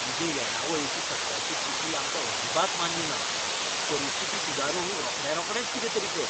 तुजे येणावळीची सद्याची स्थिती आमकां अजिबात मान्य ना. परिस्थिती सुदारूंक रोखड्यारोखडेंच कितेंतरी कर.